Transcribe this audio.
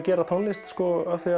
gerum tónlist af því að